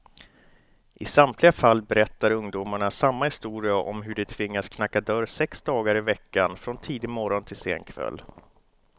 I samtliga fall berättar ungdomarna samma historia om hur de tvingats knacka dörr sex dagar i veckan, från tidig morgon till sen kväll.